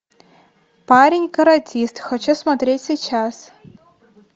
парень каратист хочу смотреть сейчас